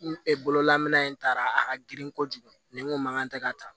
bololamana in taara a ka girin kojugu ni n ko mankan tɛ ka ta